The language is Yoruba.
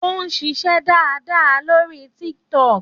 Ó ń ṣiṣẹ́ dáadáa lórí Tiktok.